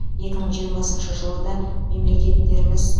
екі мың жиырмасыншы жылы да мемлекеттеріміз